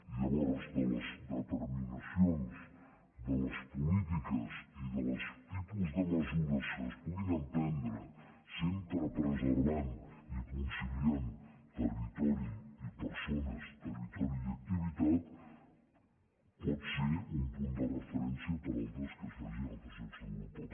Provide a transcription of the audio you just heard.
i llavors de les determinacions de les polítiques i dels tipus de mesures que es puguin emprendre sempre preservant i conciliant territori i per·sones territori i activitat pot ser un punt de referència per a altres que es facin en altres llocs d’europa